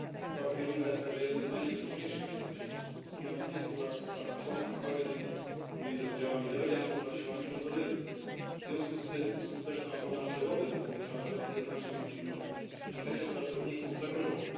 Park Wirunga jest także jednym z najniebezpieczniejszych miejsc na świecie od ponad 20 lat trwa tam konflikt zbrojny między oddziałami rebeliantów a siłami rządowymi, w związku z tym skuteczna ochrona przyrody na tym obszarze jest znacznie utrudniona, a życie pracowników zagrożone.